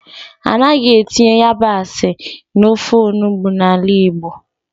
Anaghị etinye yabasị n'ofe onugbu n'ala Igbo.